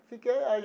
Fiquei